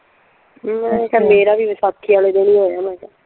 ਮੈਂ ਕਿਹਾ ਮੇਰਾ ਵੀ ਵੈਸਾਖੀ ਵਾਲੇ ਦਿਨ ਈ ਹੋਇਆ ਵਾ।